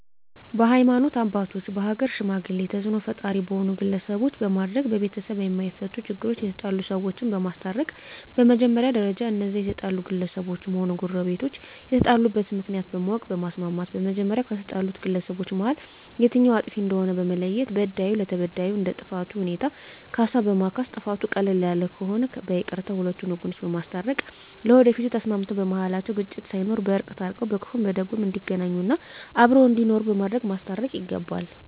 በሀይማኖት አባቶች በሀገር ሽማግሌ ተፅእኖ ፈጣሪ በሆኑ ግለሰቦች በማድረግ በቤተሰብ የማፈቱ ችግሮች የተጣሉ ሰዎችን በማስታረቅ በመጀመሪያ ደረጃ እነዚያ የተጣሉ ግለሰቦችም ሆነ ጎረቤቶች የተጣሉበትን ምክንያት በማወቅ በማስማማት በመጀመሪያ ከተጣሉት ግለሰቦች መሀል የትኛዉ አጥፊ እንደሆነ በመለየት በዳዩ ለተበዳዩ እንደ ጥፋቱ ሁኔታ ካሳ በማስካስ ጥፋቱ ቀለል ያለ ከሆነ በይቅርታ ሁለቱን ወገኖች በማስታረቅ ለወደፊቱ ተስማምተዉ በመሀላቸዉ ግጭት ሳይኖር በእርቅ ታርቀዉ በክፉም በደጉም እንዲገናኙ እና አብረዉ እንዲኖሩ በማድረግ ማስታረቅ ይገባል